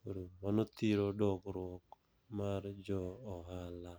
Koro mano thiro dongruok mar jo ohala.